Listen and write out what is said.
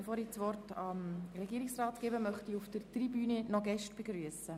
Bevor ich das Wort dem Regierungsrat erteile, möchte ich noch unsere Gäste auf der Tribüne begrüssen.